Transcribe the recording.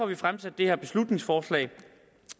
vi fremsat det her beslutningsforslag